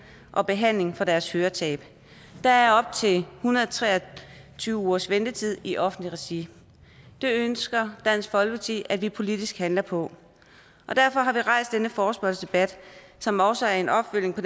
og behandling i med deres høretab der er op til en hundrede og tre og tyve ugers ventetid i offentligt regi det ønsker dansk folkeparti at vi politisk handler på og derfor har vi rejst denne forespørgselsdebat som også er en opfølgning på